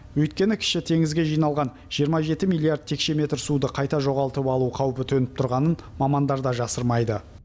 өйткені кіші теңізге жиналған жиырма жеті миллиард текше метр суды қайта жоғалтып алу қауіпі төніп тұрғанын мамандар да жасырмайды